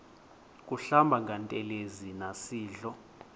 kuhlamba ngantelezi nasidlo